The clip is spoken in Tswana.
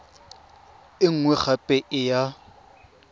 e nngwe gape e ya